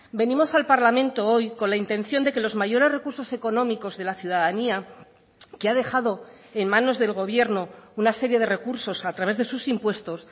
venimos al parlamento hoy con la intención de que los mayores recursos económicos de la ciudadanía que ha dejado en manos del gobierno una serie de recursos a través de sus impuestos